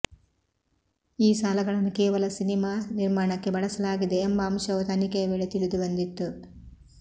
ಈ ಸಾಲಗಳನ್ನು ಕೇವಲ ಸಿನೆಮಾ ನಿರ್ಮಾಣಕ್ಕೆ ಬಳಸಲಾಗಿದೆ ಎಂಬ ಅಂಶವೂ ತನಿಖೆಯ ವೇಳೆ ತಿಳಿದುಬಂದಿತ್ತು